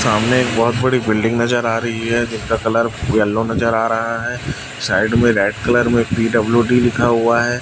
सामने एक बहोत बड़ी बिल्डिंग नजर आ रही है जिसका कलर येलो नजर आ रहा है साइड में रेड कलर में पी_डब्ल्यू_डी लिखा हुआ है।